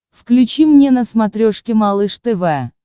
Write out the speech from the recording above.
включи мне на смотрешке малыш тв